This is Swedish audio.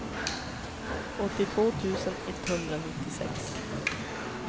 åttiotvå tusen etthundranittiosex